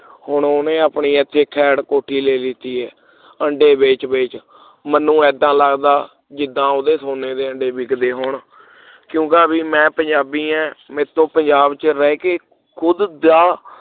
ਹੁਣ ਉਹਨੇ ਆਪਣੀ ਇਹ ਏਥੇ ਖੇਡ ਕੋਠੀ ਲੈ ਲਿਤੀ ਹੈ ਆਂਡੇ ਵੇਚ-ਵੇਚ ਮੈਨੂੰ ਇਦਾਂ ਲਗਦਾ ਜਿਦਾਂ ਉਹਦੇ ਸੋਨੇ ਦੇ ਅੰਡੇ ਵਿਕਦੇ ਹੋਣ ਕਿਉਂਕਿ ਅਭੀ ਮੈਂ ਪੰਜਾਬੀ ਆਂ ਮੇਰੇ ਤੋ ਪੰਜਾਬ ਚ ਰਹਿ ਕੇ ਖੁਡਾ ਦਾ